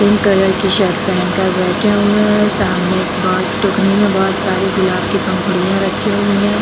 Pink colour की shirt पहन कर बैठे हुए हैं सामने में बांस की टोकरी में बहुत सारी गुलाब की पंखुड़ियां रखी हुई हैं ।